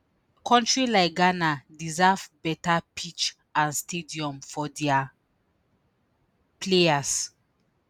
“kontri like ghana deserve beta pitch and stadium for dia players.”